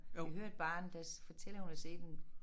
Jeg hørte et barn der fortæller hun har set en